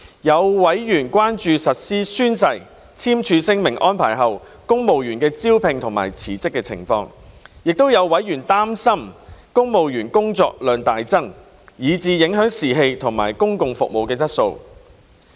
有委員關注宣誓/簽署聲明安排實施後公務員的招聘及辭職情況，亦有委員擔心公務員工作量會大增，以致影響士氣及公共服務質素。